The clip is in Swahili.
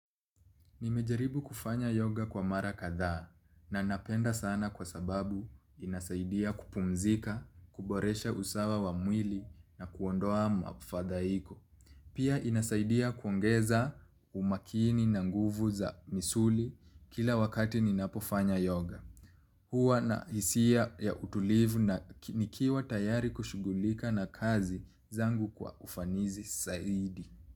Nimejaribu kufanya yoga kwa mara kathaa na napenda sana kwa sababu inasaidia kupumzika, kuboresha usawa wa mwili na kuondoa mafadhaiko. Pia inasaidia kuongeza umakini na nguvu za misuli kila wakati ninapofanya yoga. Huwa na hisia ya utulivu na nikiwa tayari kushugulika na kazi zangu kwa ufanizi saidi.